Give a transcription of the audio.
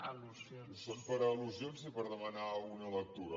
és per al·lusions i per demanar una lectura